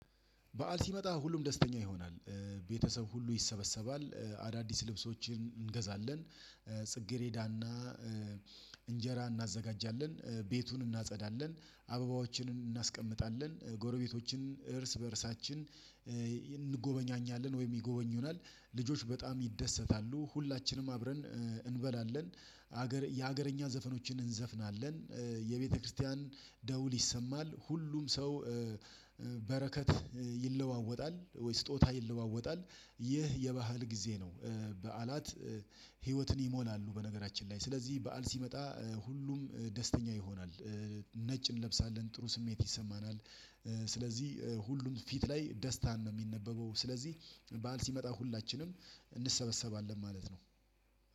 በዓል ሲመጣ ሁሉም ደስተኛ ይሆናል። ቤተሰብ ሁሉ ይሰበሰባል። አዳዲስ ልብሶችን እንገዛለን። ጽጌሬዳና እንጀራ እናዘጋጃለን። ቤቱን እናጸዳለን። አበባዎችንም እናስቀምጣለን ጎረቤቶችን እርስ በእርሳችን እንጎበኛኛለን ወይም ይጎበኙናል። ልጆች በጣም ይደሰታሉ ሁላችንም አብረን እንበላለን። የሀገረኛ ዘፈኖችን እንዘፍናለን። የቤተክርስቲያን ደውል ይሰማል ሁሉም ሰው በረከት ይለዋወጣል ወይ ስጦታ ይለዋወጣል። ይህ የባህል ጊዜ ነው። በዓላት ህይወትን ይሞላሉ። በነገራችን ላይ ስለዚህ በዓል ሲመጣ ሁሉም ደስተኛ ይሆናል። ነጭ እንለብሳለን ጥሩ ስሜት ይሰማናል። ስለዚህ ሁሉም ፊት ላይ ደስታን ነው የሚነበበው። ስለዚህ በዓል ሲመጣ ሁላችንም እንሰበሰባለን ማለት ነው።